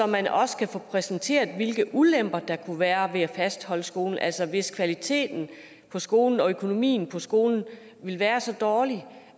man også få præsenteret hvilke ulemper der kunne være ved at fastholde skolen altså hvis kvaliteten på skolen og økonomien på skolen ville være så dårlig